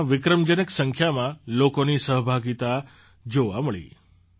તેમાં વિક્રમજનક સંખ્યામાં લોકોની સહભાગિતા જોવા મળી